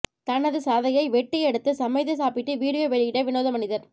தனது சதையை வெட்டி எடுத்து சமைத்து சாப்பிட்டு வீடியோ வெளியிட்ட விநோத மனிதர்